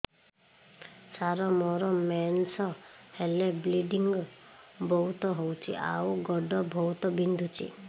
ସାର ମୋର ମେନ୍ସେସ ହେଲେ ବ୍ଲିଡ଼ିଙ୍ଗ ବହୁତ ହଉଚି ଆଉ ଗୋଡ ବହୁତ ବିନ୍ଧୁଚି